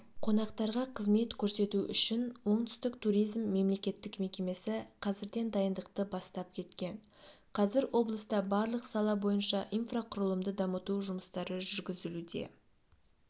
қонақтарға қызмет көрсету үшін оңтүстік туризм мемлекеттік мекемесі қазірден дайындықты бастап кеткен қазір облыста барлық сала бойынша инфрақұрылымды дамыту жұмыстары жүргізілуде